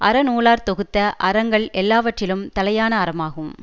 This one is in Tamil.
அறநூலார் தொகுத்த அறங்கள் எல்லாவற்றிலும் தலையான அறமாகும்